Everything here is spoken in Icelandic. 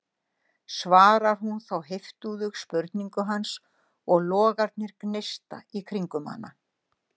svarar hún þá heiftúðug spurningu hans og logarnir gneista í kringum hana.